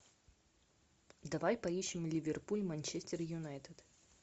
давай поищем ливерпуль манчестер юнайтед